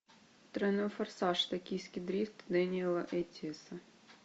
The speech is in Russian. тройной форсаж токийский дрифт дэниэла эттиэса